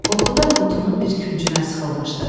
Qorxudan qutunun bir küncünə sıxılmışdı.